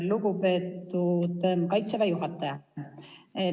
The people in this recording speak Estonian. Lugupeetud Kaitseväe juhataja!